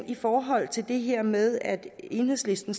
i forhold til det her med at enhedslisten